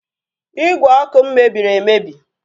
Ígwè ọkụ m mebiri emebi